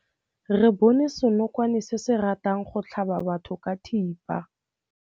Re bone senokwane se se ratang go tlhaba batho ka thipa.